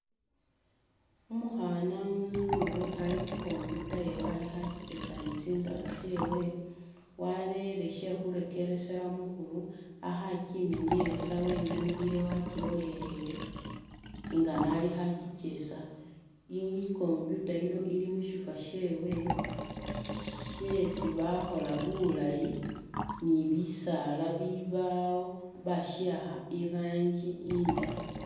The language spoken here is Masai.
Umukhana umuzungu ali khu computer yewe alikho akikyesa ni tsinzala tsewe warele she khurekeresela mukhuru akho akyimenielesa wenamiliye wakyilolelele nga nalikho akyikyesa i computer yino ili mushifo shewe shesi bakhola bulaayi ni bisaala bibaawo bashiwakha i rangi indayi.